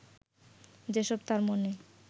যেসব তাঁর মনে